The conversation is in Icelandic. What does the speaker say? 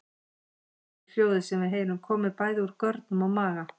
Í raun getur hljóðið sem við heyrum komið bæði úr görnum og maga.